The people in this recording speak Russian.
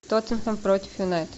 тоттенхэм против юнайтед